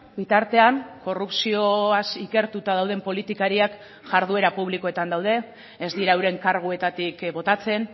bitartean korrupzioaz ikertuta dauden politikariak jarduera publikoetan daude ez dira euren karguetatik botatzen